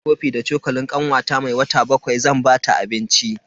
Na wanke kofi da cokalin kanwata mai wata bakwai zan bata abinci.